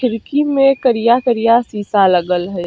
खिड़की में करिया-करिया शीशा लगल हई।